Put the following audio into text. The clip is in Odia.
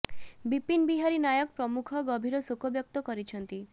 ବିପିନ ବିହାରୀ ନାୟକ ପ୍ରମୁଖ ଗଭୀର ଶୋକ ବ୍ୟକ୍ତ କରିଛନ୍ତି